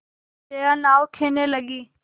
जया नाव खेने लगी